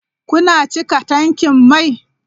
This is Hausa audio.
Kuna cika tankin mai?